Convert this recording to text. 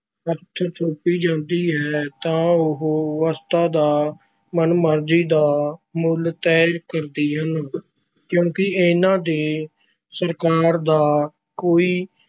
ਹੱਥ ਸੌਂਪੀ ਜਾਂਦੀ ਹੈ ਤਾਂ ਉਹ ਵਸਤਾਂ ਦਾ ਮਨਮਰਜ਼ੀ ਦਾ ਮੁੱਲ ਤੈਅ ਕਰਦੀਆਂ ਹਨ ਕਿਉਂਕਿ ਇਹਨਾਂ ‘ਤੇ ਸਰਕਾਰ ਦਾ ਕੋਈ